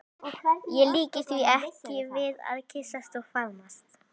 Ég líki því ekki við að kyssast og faðmast.